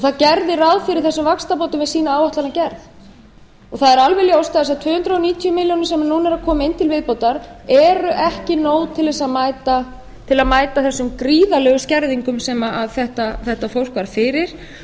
það gerði ráð fyrir þessum vaxtabótum við sína áætlanagerð það er alveg ljóst að þessar tvö hundruð níutíu milljónir sem núna eru að koma inn til viðbótar eru ekki nóg til þess að mæta þessum gríðarlegu skerðingum sem þetta fólk varð fyrir